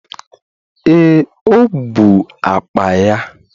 Ee, o bụ akpa ya